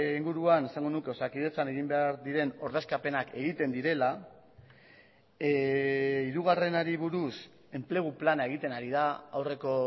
inguruan esango nuke osakidetzan egin behar diren ordezkapenak egiten direla hirugarrenari buruz enplegu plana egiten ari da aurreko